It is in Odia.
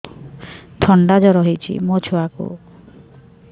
ଥଣ୍ଡା ଜର ହେଇଚି ମୋ ଛୁଆକୁ